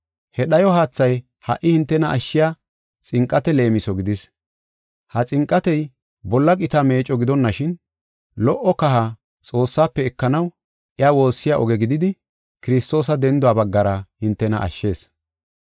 He dhayo haathay ha77i hintena ashshiya xinqate leemiso gidis. Ha xinqatey bolla qita meecco gidonashin, lo77o kaha Xoossaafe ekanaw iya woossiya oge gididi, Kiristoosa denduwa baggara hintena ashshees.